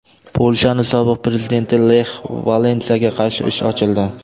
Polshaning sobiq prezidenti Lex Valensaga qarshi ish ochildi.